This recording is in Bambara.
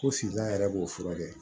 Ko finna yɛrɛ b'o furakɛ